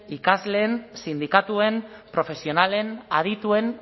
ikasleen sindikatuen profesionalen adituen